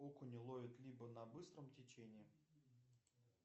окуня ловят либо на быстром течении